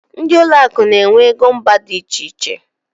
Ndị ụlọ akụ n'enwe égo mba dị iche iche.